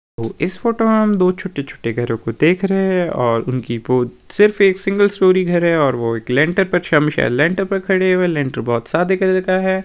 इस फोटो में हम दो छोटे छोटे घरों को देख रहे हैं और उनकी बहोत सिर्फ एक सिंगल स्टोरी घर है और वो एक लेंटर पर शम लेंटर पे खड़े हुए हैं लेंटर बहोत सादे कलर का है।